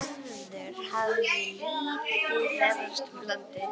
Gerður hafði lítið ferðast um landið.